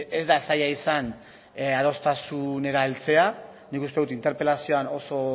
ez da zaila izan adostasunera heltzea nik uste dut interpelazioan oso